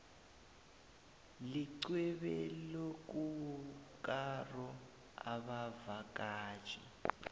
lixhwebolokukaro abavakatjhi